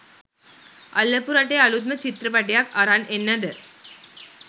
අල්ලපු රටේ අලුත්ම චිත්‍රපටියක් අරන් එන්නද?